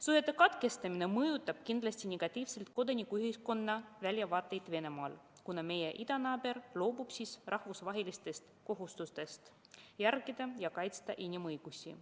Suhete katkestamine mõjutab kindlasti negatiivselt kodanikuühiskonna väljavaateid Venemaal, kuna meie idanaaber loobub siis rahvusvahelistest kohustustest kaitsta inimõigusi.